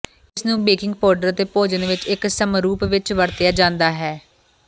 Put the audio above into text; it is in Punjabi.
ਇਸ ਨੂੰ ਬੇਕਿੰਗ ਪਾਊਡਰ ਅਤੇ ਭੋਜਨ ਵਿੱਚ ਇੱਕ ਸਮਰੂਪ ਵਿੱਚ ਵਰਤਿਆ ਜਾਂਦਾ ਹੈ